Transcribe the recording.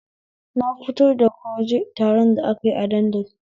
Na fito daga waje taron da akayi a dandali